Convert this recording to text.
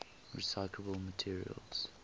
recyclable materials